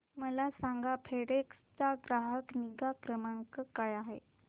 मला सांगा फेडेक्स चा ग्राहक निगा क्रमांक काय आहे